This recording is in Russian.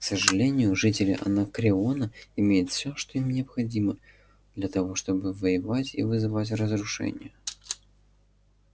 к сожалению жители анакреона имеют всё что им необходимо для того чтобы воевать и вызывать разрушения